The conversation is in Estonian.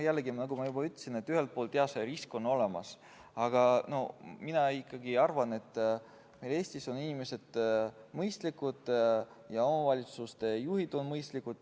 Jällegi, nagu ma juba ütlesin, ühelt poolt see risk on olemas, aga mina ikkagi arvan, et Eestis on inimesed mõistlikud ja omavalitsuste juhid on mõistlikud.